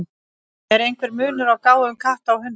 Er einhver munur á gáfum katta og hunda?